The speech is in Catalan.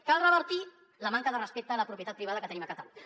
cal revertir la manca de respecte a la propietat privada que tenim a catalunya